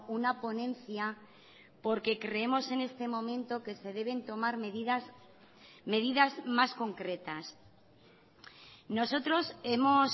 una ponencia porque creemos en este momento que se deben tomar medidas medidas más concretas nosotros hemos